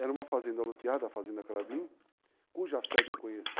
Era uma fazenda aluteada, a Fazenda Carabim, cuja sede eu conheci.